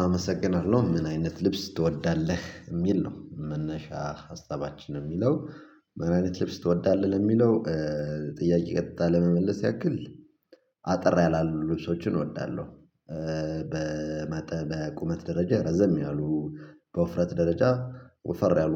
አመሰግናለሁ ምን አይነት ልብስ ትወዳለህ የሚል ነው መነሻ ሀሳባችን የሚለው ምን አይነት ልብስ ትወዳለህ ለሚለው? ጥያቄ ቀጥታ ለመመለስ ያክል አጠር ያላሉ ልብሶችን እወዳለሁ። በቁመት ደረጃ ረዘም ያሉ በውፍረት ደረጃ ወፈር ያሉ